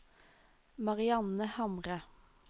Marianne Hamre